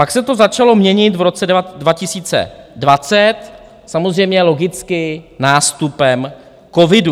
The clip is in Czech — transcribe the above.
Pak se to začalo měnit v roce 2020, samozřejmě logicky nástupem covidu.